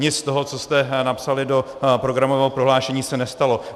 Nic z toho, co jste napsali do programového prohlášení, se nestalo.